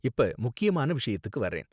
இப்ப முக்கியமான விஷயத்துக்கு வர்றேன்